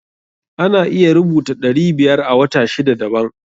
Ana iya rubuta ɗari biyar a wata sida daban.